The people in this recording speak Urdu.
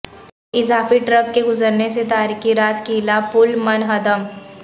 اضافی ٹرک کے گزرنے سے تاریخی راج قلعہ پل منہدم